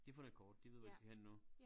De har fundet et kort de ved hvor de skal hen nu